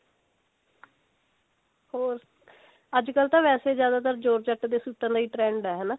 ਹੋਰ ਅੱਜਕਲ ਵੈਸੇ ਤਾਂ ਜਿਆਦਾਤਰ georgette ਦੇ ਸੂਟਾ ਦਾ ਹੀ trend ਹੈ